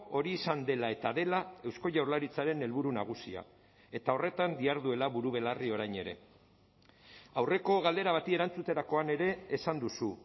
hori izan dela eta dela eusko jaurlaritzaren helburu nagusia eta horretan diharduela buru belarri orain ere aurreko galdera bati erantzuterakoan ere esan duzu